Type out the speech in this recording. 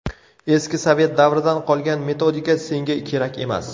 Eski sovet davridan qolgan metodika senga kerak emas.